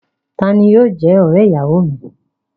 Ta ni yóò jẹ́ ọ̀rẹ́-ìyàwọ mi?